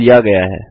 कुछ लिया गया है